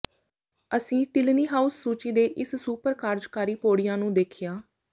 ਅਸੀਂ Tinley House ਸੂਚੀ ਤੇ ਇਸ ਸੁਪਰ ਕਾਰਜਕਾਰੀ ਪੌੜੀਆਂ ਨੂੰ ਦੇਖਿਆ